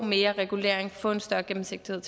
mere regulering få en større gennemsigtighed